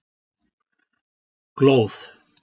Glóð